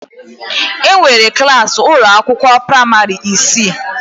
Enwere klas ụlọ akwụkwọ praịmarị isii.